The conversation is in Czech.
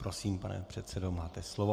Prosím, pane předsedo, máte slovo.